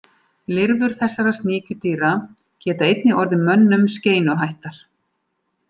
Lirfur þessara sníkjudýra geta einnig orðið mönnum skeinuhættar.